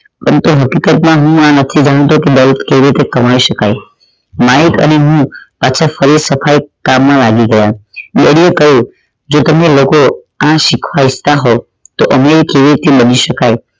આમ તો હકીકત માં હું આ નથી ભણાવતો કે કેવી રીતે કમાઈ શકાઈ માઇક અને હુ પાછા સફાઇ કામ માં લાગી ગયા daddy એ કહ્યું જો તમે લોકો આ શીખવા ઇચ્છતા હોવ કે અમીર કેવી રીતે બની શકાઈ